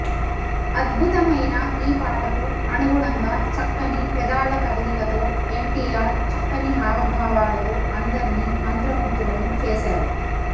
అద్భుతమైన ఈ పాటకు అనుగుణంగా చక్కని పెదాల కదలికతో ఎన్టీఆర్ చక్కని హావభా వాలతో అందర్నీ మంత్రము గ్థులను చేశారు